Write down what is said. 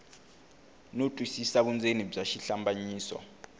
no twisisa vundzeni bya xihlambanyiso